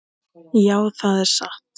Já, það er satt.